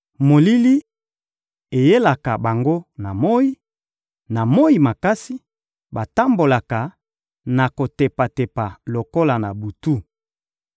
Molili eyelaka bango na moyi; na moyi makasi, batambolaka na kotepatepa lokola na butu.